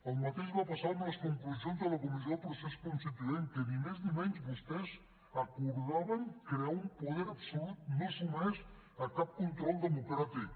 el mateix va passar amb les conclusions de la comissió del procés constituent que ni més ni menys vostès acordaven crear un poder absolut no sotmès a cap control democràtic